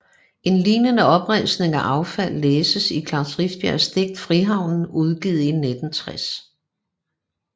En lignende opremsning af affald læses i Klaus Rifbjergs digt Frihavnen udgivet 1960